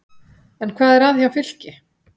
En hvað er að hjá Fylki?